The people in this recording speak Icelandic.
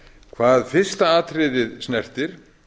hvað fyrsta atriðið snertir